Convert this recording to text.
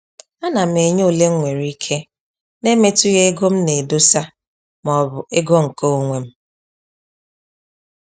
A na m enye ole mwere ike na-emetughi ego m na edosa ma ọ bụ ego nke onwem